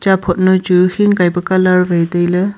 phot nyoi chu hin kai pe colour wai tailey.